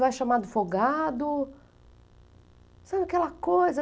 Vai chamado folgado, sabe aquela coisa?